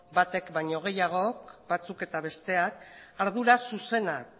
batek baino gehiago batzuk eta besteak ardura zuzenak